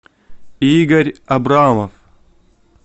игорь абрамов